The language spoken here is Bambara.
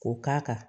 K'o k'a kan